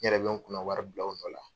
N yɛrɛ bɛ n kunna wari bila o nɔ la.